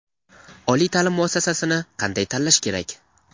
Oliy ta’lim muassasasini qanday tanlash kerak?.